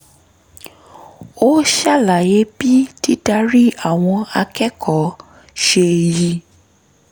ó ṣàlàyé bí dídarí àwọn akẹ́kọ̀ọ́ ṣe yí